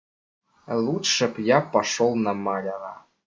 лучше б я пошёл на маляра